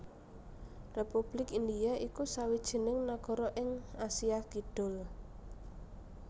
Republik India iku sawijining nagara ing Asia Kidul